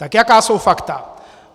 Tak jaká jsou fakta?